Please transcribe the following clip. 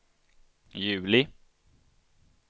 juli